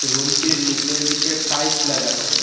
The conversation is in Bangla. রুমটির নীচের দিকে টাইস লাগানো।